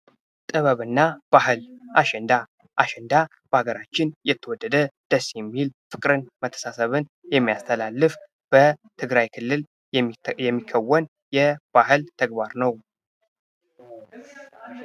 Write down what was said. ጥበብና ባህል አሸንዳ አሸንዳ በሀገራችን የተወደደ ደስ የሚል ፍቅርን መተሳሳብን የሚያስተላልፍ በትግራይ ክልል የሚከውን የባህል ተግባር ነው።